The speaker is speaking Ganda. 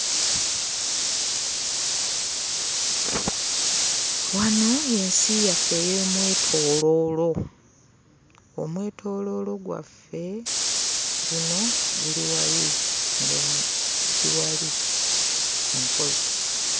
Wano y'ensi yaffe ey'omwetooloolo. Omwetooloolo gwaffe guno guli wali e Nkozi.